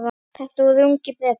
Þetta voru ungir Bretar.